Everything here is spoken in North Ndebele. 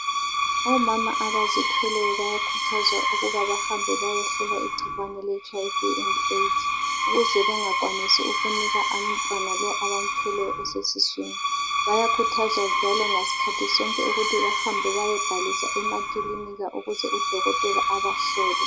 Omama. abazithweleyo bayakhuthazwa ukuba bahambe bayehlolwa igcikwane le HIV and AIDS. Ukuze bengakwanisi ukunika umntwana lo abamthweleyo osesiswini . Bayakhuthazwa njalo ngaskhathi sonke ukuthi bahambe bayebhalisa emakilinika ukuze udokotela abahlole .